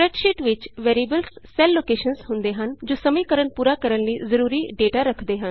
spreadsheet ਵਿਚ variables cell locations ਹੁੰਦੇ ਹਨ ਜੋ ਸਮੀਕਰਨ ਪੂਰਾ ਕਰਣ ਲਈ ਜਰੂਰੀ ਡੇਟਾ ਰੱਖਦੇ ਹਨ